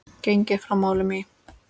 Gengið frá málum í